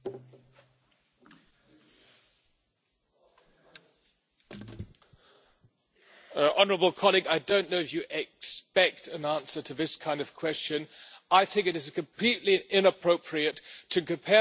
Honourable colleague, I don't know whether you expect an answer to this kind of question. I think it is completely inappropriate to compare the situation in a democracy like Spain, a valued Member State of the European Union, with a regime in Havana